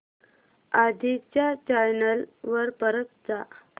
आधी च्या चॅनल वर परत जा